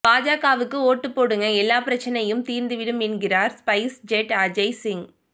பாஜகவுக்கு ஓட்டுப்போடுங்க எல்லா பிரச்சினையும் தீர்ந்துடும் என்கிறார் ஸ்பைஸ்ஜெட் அஜய் சிங்